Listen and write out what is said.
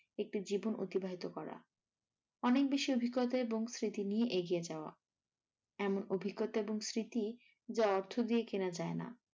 একটি জীবন অতিবাহিত করা অনেকবেশি অভিজ্ঞতা এবং স্মৃতি নিয়ে এগিয়ে যাওয়া এমন অভিজ্ঞতা এবং স্মৃতি যা অর্থ দিয়ে কেনা যায়না।